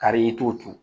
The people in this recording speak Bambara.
Kari i t'o turu